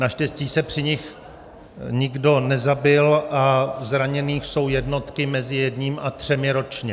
Naštěstí se při nich nikdo nezabil a zraněných jsou jednotky, mezi jedním a třemi ročně.